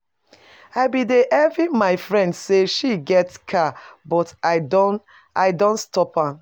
I bin dey envy my friend say she get car but I don I don stop am